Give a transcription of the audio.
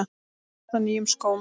Þú varst á nýjum skóm.